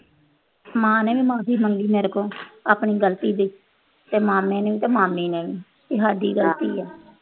ਮਾਂ ਨੇ ਵੀ ਮਾਫੀ ਮੰਗੀ ਮੇਰੇ ਕੋਲ ਆਪਣੀ ਗਲਤੀ ਦੀ ਤੇ ਮਾਮੇ ਨੇ ਵੀ ਤੇ ਮਾਮੀ ਨੇ ਵੀ ਕਿ ਸਾਡੀ ਗਲਤੀ ਆ।